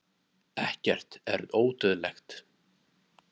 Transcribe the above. ekkert er ódauðlegt